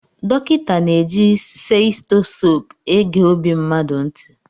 Dọkịta na-eji seitosope ege ọbi mmadụ ntị.